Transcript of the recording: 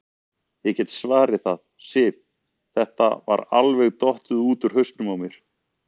Ég get svarið það, Sif, þetta var alveg dottið út úr hausnum á mér.